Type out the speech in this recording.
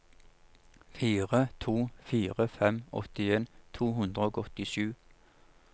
fire to fire fem åttien to hundre og åttisju